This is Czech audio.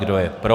Kdo je pro?